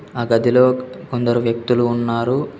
ఆ గదిలో కొందరు వ్యక్తులు ఉన్నారు.